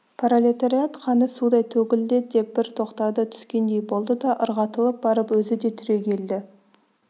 пролетариат қаны судай төгілді деп бір тоқтады түскендей болды да ырғатылып барып өзі де түрегелді